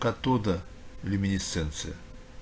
оттуда люминесценция